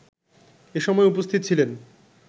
এসময় উপস্থিত ছিলেন